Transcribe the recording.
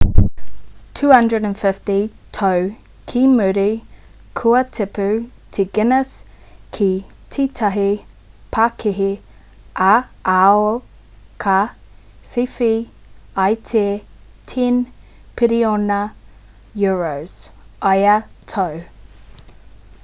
250 tau ki muri kua tipu te guinness ki tētahi pakihi ā-ao ka whiwhi i te 10 piriona euros us$14.7 piriona ia tau